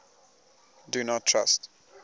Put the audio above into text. do not trust